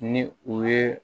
Ni u ye